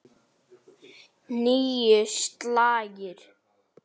Níu slagir.